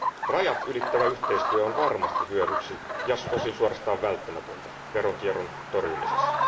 Rajatylittävä yhteistyö on varmasti hyödyksi ja osin suorastaan välttämätöntä veronkierron torjumisessa.